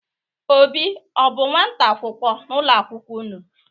Obi ọ bụ nnwata akwụkwọ n'ụlọ akwụkwo unu?